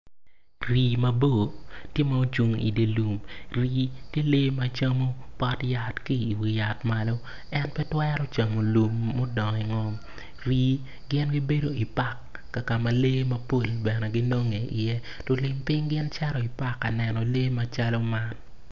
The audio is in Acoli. Rii mabor tye ma ocung i dye lum gin gicamo pot yat ma otwi lamal.